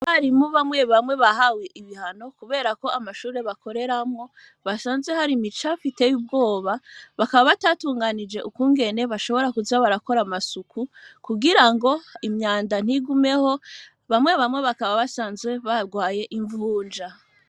Barimu bamwe bamwe bahawe ibihano, kubera ko amashure bakoreramwo basanze hari mica fiteye ubwoba bakaba batatunganije ukungene bashobora kuja barakora amasuku kugira ngo imyanda ntigumeho bamwe bamwe bakaba basanzwe barwaye imvunja.